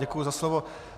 Děkuji za slovo.